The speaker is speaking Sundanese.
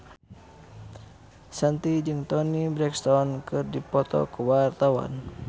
Shanti jeung Toni Brexton keur dipoto ku wartawan